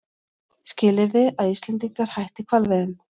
Skilyrði að Íslendingar hætti hvalveiðum